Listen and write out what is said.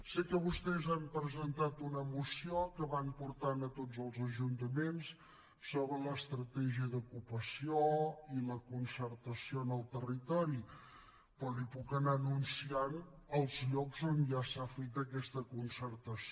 sé que vostès han presentat una moció que van portant a tots els ajuntaments sobre l’estratègia d’ocupació i la concertació en el territori però li puc anar anunciant els llocs on ja s’ha fet aquesta concertació